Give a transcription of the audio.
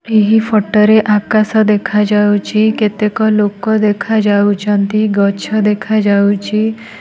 ଏହି ଫଟ ରେ ଆକାଶ ଦେଖା ଯାଉଛି କେତେକ ଲୋକ ଦେଖାଯାଉଛନ୍ତି ଗଛ ଦେଖା ଯାଉଛି।